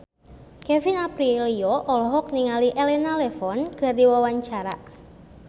Kevin Aprilio olohok ningali Elena Levon keur diwawancara